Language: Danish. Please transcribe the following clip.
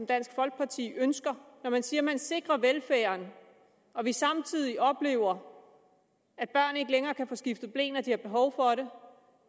dansk folkeparti ønsker når man siger at man sikrer velfærden og vi samtidig oplever at børn ikke længere kan få skiftet ble når de har behov for det